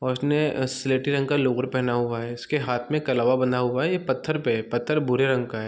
First ने अ सिलेटी रंग का लोअर पहना हुआ है इसके हाथ में कलावा बंधा हुआ है ये पत्थर पे है पत्थर भूरे रंग का है।